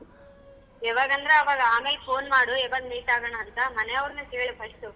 ಯಾವಗಂದರೆ ಅವಾಗ ಆಮೇಲೆ phone ಮಾಡು ಯಾವಾಗ meet ಆಗೋಣ ಅಂತ ಮನೆವರನ್ನ ಕೇಳು first ಉ.